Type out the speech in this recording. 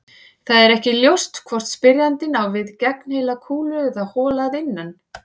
Það er ekki ljóst hvort spyrjandinn á við gegnheila kúlu eða hola að innan.